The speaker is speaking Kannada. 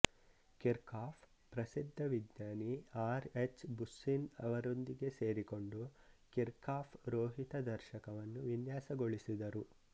ಕಿರ್ಕಾಫ್ ಪ್ರಸಿದ್ಧ ವಿಜ್ಞಾನಿ ಆರ್ ಎಚ್ ಬುಸ್ಸಿನ್ಅವರೊಂದಿಗೆ ಸೇರಿಕೊಂಡು ಕಿರ್ಕಾಫ್ ರೋಹಿತ ದರ್ಶಕವನ್ನು ವಿನ್ಯಾಸಗೊಳಿಸಿದರು